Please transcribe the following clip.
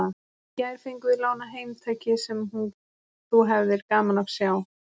Í gær fengum við lánað heim tæki sem þú hefðir gaman af að sjá.